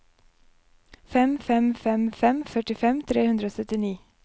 fem fem fem fem førtifem tre hundre og syttini